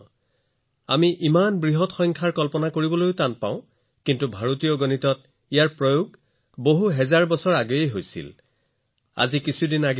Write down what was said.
যদি আমি মনত ইমান ডাঙৰ সংখ্যা মগজুৰে কল্পনা কৰোঁ তেন্তে এয়া কঠিন হয় কিন্তু সেইবোৰ হাজাৰ হাজাৰ বছৰ ধৰি ভাৰতীয় গণিতত ব্যৱহাৰ হৈ আহিছে